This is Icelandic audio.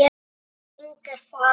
Elsku Inga er farin.